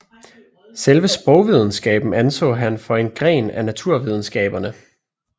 Selve sprogvidenskaben anså han for en gren af naturvidenskaberne